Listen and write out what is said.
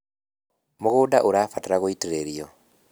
mũgũnda ũrabatara gũitĩrĩrio